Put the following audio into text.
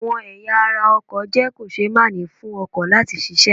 Àwọn ẹ̀ya ara ọkọ̀ jẹ́ kò-ṣe-máà-ní fún ọkọ̀ láti ṣiṣẹ́.